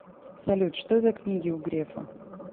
салют что за книги у грефа